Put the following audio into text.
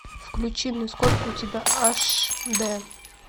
включи мне сколько у тебя аш д